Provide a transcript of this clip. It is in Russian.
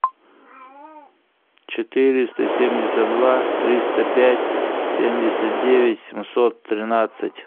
четыреста семьдесят два триста пять семьдесят девять семьсот тринадцать